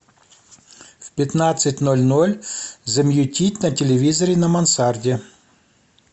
в пятнадцать ноль ноль замьютить на телевизоре на мансарде